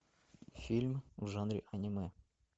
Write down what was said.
фильм в жанре аниме